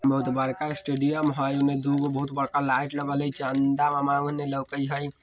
बहुत बड़का स्टेडियम हई उने दुगो बहुत बड़का लाइट लगल हई चंदा मामा उने